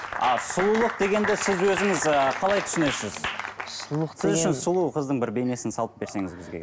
ал сұлулық дегенді сіз өзіңіз і қалай түсінесіз сіз үшін сұлу қыздың бір бейнесін салып берсеңіз бізге